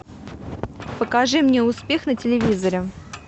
покажи мне успех на телевизоре